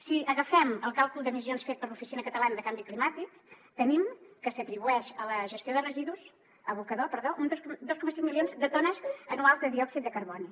si agafem el càlcul d’emissions fet per l’oficina catalana de canvi climàtic tenim que s’atribueixen a l’abocador dos coma cinc milions de tones anuals de diòxid de carboni